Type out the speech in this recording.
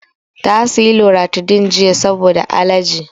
Ta saya loratadin jiya saboda alerji